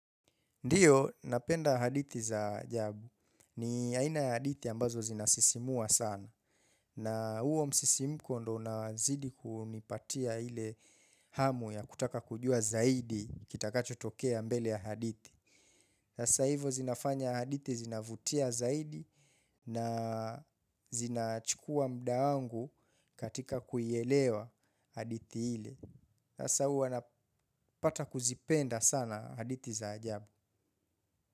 Ndiyo, napenda hadithi za ajabu. Ni aina ya hadithi ambazo zinasisimua sana. Na huo msisimuko ndo unazidi kunipatia ile hamu ya kutaka kujua zaidi kitakacho tokea mbele ya hadithi hasa hivo zinafanya haditi zinavutia zaidi na zinachukua muda wangu katika kuielewa hadithi ile. Sasa huwa napata kuzipenda sana haditi za ajabu.